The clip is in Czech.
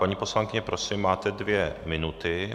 Paní poslankyně, prosím máte dvě minuty.